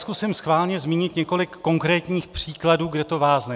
Zkusím schválně zmínit několik konkrétních příkladů, kde to vázne.